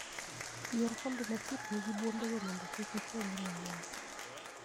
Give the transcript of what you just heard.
Yier kombe machiegni gi buombego mondo kik ichwanyri ahinya.